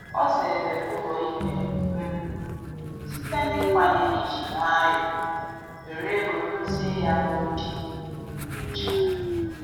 O zere ụlọ ikpe um site n'ikwenye iji nwayọ were ego dozie ya n'oge nnyocha